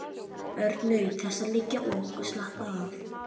Örn naut þess að liggja og slappa af.